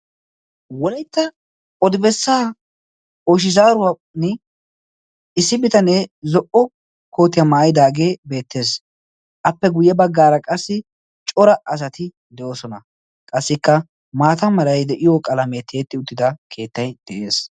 wolaitta odibessaa oshizaaruwaan issi bitanee zo77o kootiyaa maayidaagee beettees appe guyye baggaara qassi cora asati de7oosona qassikka maata marai de7iyo qalamee teetti uttida keettai de7ees